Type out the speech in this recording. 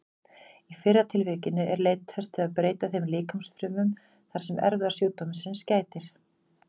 Í fyrra tilvikinu er leitast við að breyta þeim líkamsfrumum þar sem erfðasjúkdómsins gætir.